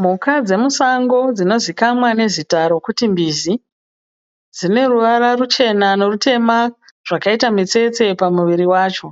Mhuka dzemusango dzinozikanwa nezita rokuti mbizi dzine ruvara ruchena norutema zvakaita mitsetse pamuviri vacho.